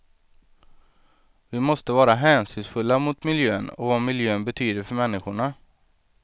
Vi måste vara hänsynsfulla mot miljön och vad miljön betyder för människorna.